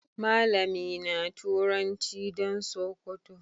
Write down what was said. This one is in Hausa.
Malami na turanci dan sokoto.